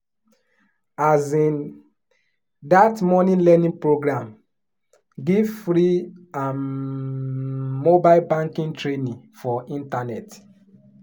um that money learning program give free um mobile banking training for internet.